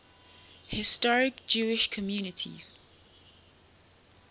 historic jewish communities